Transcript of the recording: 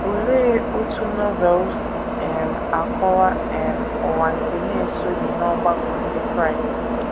Olee otú Novel si um akọwa um ụwa nke na - esoghị n’ọgbakọ ndị Kraịst?